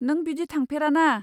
नों बिदि थांफेरा ना।